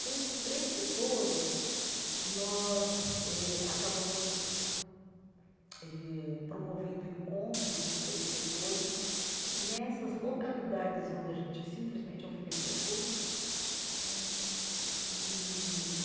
Então, esses três setores, nós eh acabamos eh promovendo o encontro dos três setores nessas localidades onde a gente simplesmente oferecia curso né e.